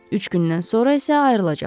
Üç gündən sonra isə ayrılacaqlar.